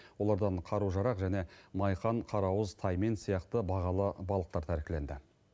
олардан қару жарақ және майқан қарауыз таймен сияқты бағалы балықтар тәркіленді